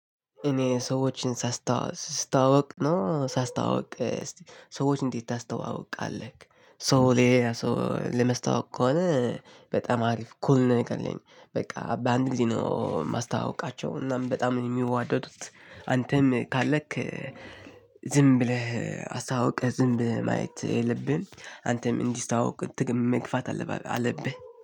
እኔ ሰዎችን ስየዋወቅ ነው ሳስተዋውቅ ሰዎችን እንዴት ታስተዋውቃለህ? ሰው ለማስተዋወቅ ከሆነ በጣም አሪፍ ኩል ነው። የምትለኝ በቃ በአንድ ጊዜ ነው የማስተዋውቃቸው እናም በጣም የሚዋደዱት። አንተም ካለክ ዝም ብለህ አስተዋዉቀህ ዝም ብለህ ማየት የለብህም። አንተም እንዲስተዋወቁ መግፋት አለባበህ አለብህ።